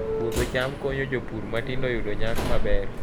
Puodho cham konyo jopur matindo yudo nyak maber